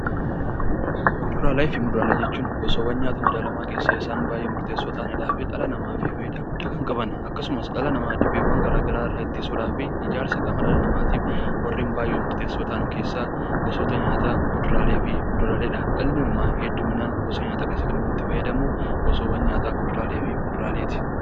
Kuduraalee fi muduraalee jechuun gosaawwan nyaata madaalamaa keessaa isa murteessoo ta'anii fi dhala namaatiif fayidaa guddaa kan qaban, akkasumas dhala namaa dhibeewwaan addaa addaa irraa ittisuudhaaf , ijaarsa qaama namaatiif warreen baayyee murteessoo ta'an keessaa gosoota nyaataa keessaa kuduraalee fi muduraaleedha. Ilmi namaa hedduminaan gosa nyaataa itti fayyadamu, gosaawwan nyaataa kuduraalee fi muduraaleeti.